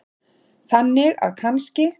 Þannig að kannski.